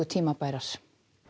tímabærar